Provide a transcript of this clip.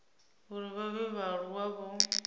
uri vha vhe vhaaluwa vho